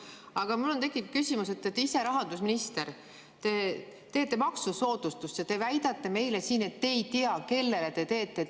Aga mul on tekkinud küsimus, et te ise olete rahandusminister ja teete maksusoodustuse, aga väidate meile siin, et te ei tea, kellele te seda teete.